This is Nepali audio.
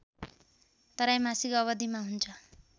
त्रैमासिक अवधिमा हुन्छ